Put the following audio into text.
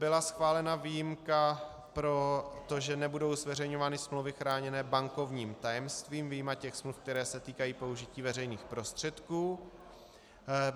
Byla schválena výjimka pro to, že nebudou zveřejňovány smlouvy chráněné bankovním tajemstvím vyjma těch smluv, které se týkají použití veřejných prostředků.